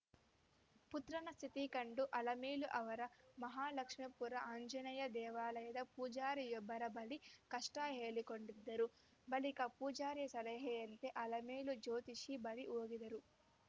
ಪುತ್ರನ ಸ್ಥಿತಿ ಕಂಡು ಅಲಮೇಲು ಅವರು ಮಹಾಲಕ್ಷ್ಮೇಪುರ ಆಂಜನೇಯ ದೇವಾಲಯದ ಪೂಜಾರಿಯೊಬ್ಬರ ಬಳಿ ಕಷ್ಟಹೇಳಿಕೊಂಡಿದ್ದರು ಬಳಿಕ ಪೂಜಾರಿಯ ಸಲಹೆಯಂತೆ ಅಲಮೇಲು ಜ್ಯೋತಿಷಿ ಬಳಿ ಹೋಗಿದ್ದರು